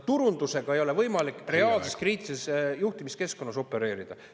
Turundusega ei ole võimalik reaalses kriitilises juhtimiskeskkonnas opereerida.